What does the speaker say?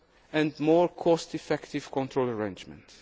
results, and more cost effective control arrangements.